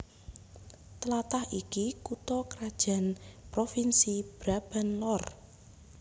Tlatah iki kutha krajan provinsi Brabant Lor